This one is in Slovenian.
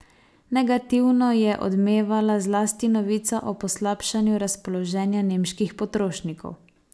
Negativno je odmevala zlasti novica o poslabšanju razpoloženja nemških potrošnikov.